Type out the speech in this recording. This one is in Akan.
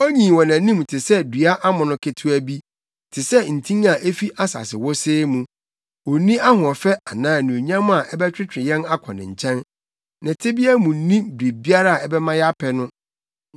Onyin wɔ nʼanim te sɛ dua amono ketewa bi, te sɛ ntin a efi asase wosee mu. Onni ahoɔfɛ anaa anuonyam a ɛbɛtwetwe yɛn akɔ ne nkyɛn. Ne tebea mu nni biribiara a ɛbɛma yɛapɛ no.